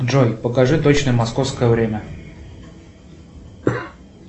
джой покажи точное московское время